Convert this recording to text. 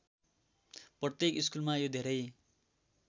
प्रत्येक स्कुलमा यो धेरै